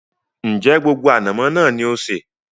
Ń jẹ́ gbogbo ànàmọ́ náà ni ó sé?